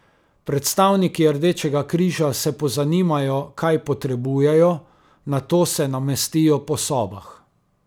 Predstavniki Rdečega križa se pozanimajo, kaj potrebujejo, nato se namestijo po sobah.